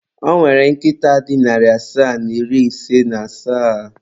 Ọ nwere nkịta dị narị asaa na iri ise na asaa.